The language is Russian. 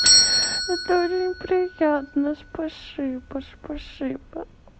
это у приятно спасибо спасибо